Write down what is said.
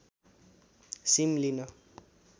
SIM लिन